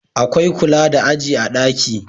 Akwai kula da aji a daki